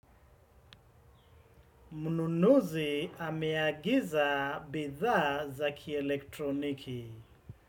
Mnunuzi ameagiza bidhaa za kielektroniki.